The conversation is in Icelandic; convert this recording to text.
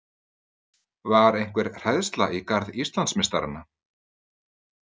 Var einhver hræðsla í garð Íslandsmeistarana?